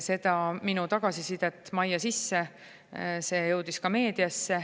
See minu tagasiside majja sisse jõudis ka meediasse.